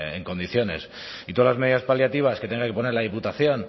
en condiciones y todas las medidas paliativas que tenga que poner la diputación